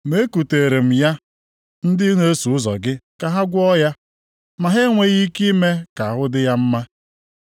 Ma ekuteere m ya ndị na-eso ụzọ gị ka ha gwọọ ya, ma ha enweghị ike ime ka ahụ dị ya mma.”